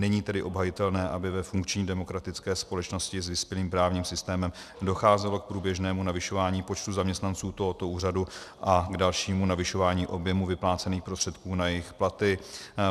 Není tedy obhajitelné, aby ve funkční demokratické společnosti s vyspělým právním systémem docházelo k průběžnému navyšování počtu zaměstnanců tohoto úřadu a k dalšímu navyšování objemu vyplácených prostředků na jejich platy.